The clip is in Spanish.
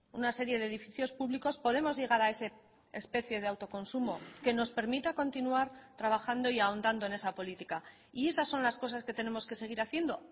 una serie de edificios públicos podemos llegar a ese especie de autoconsumo que nos permita continuar trabajando y ahondando en esa política y esas son las cosas que tenemos que seguir haciendo